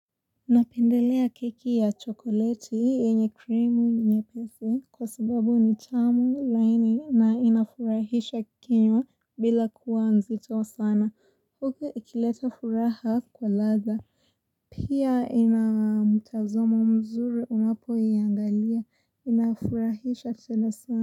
Unapendelea keki ya chokoleti hii yenye krimu nyepesi kwa sababu ni tamu laini na inafurahisha kinywa bila kuwa nzito sana huku ikileta furaha kwa ladha Pia inamutazomo mzuri unapo iangalia inafurahisha tena sana.